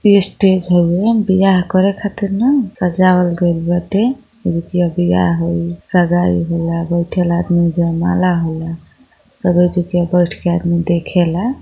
ई stage हउए। विवाह करे खातिर न सजावल गईल बाटे। एजुकीया विवाह होई शगाई होला बाइथेला आदमी। जयमाला होला सब यएजुकीय बइठ के आदमी देखेला।